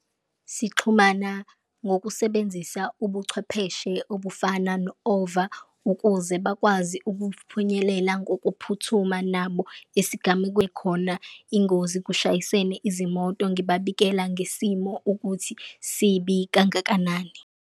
Sixhumana ngokusebenzisa ubuchwepheshe obufana no-ova ukuze bakwazi ukufinyelela ngokuphuthuma nabo esigamekweni khona ingozi, kushayisene izimoto ngibabikela ngesimo ukuthi sibi kangakanani.